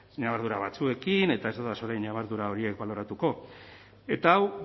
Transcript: ñabardura batzuekin eta ez dodaz orain ñabardura horiek baloratuko eta hau